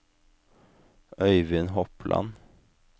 Øyvind Hopland